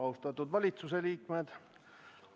Austatud valitsuse liikmed!